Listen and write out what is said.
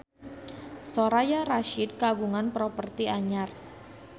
Soraya Rasyid kagungan properti anyar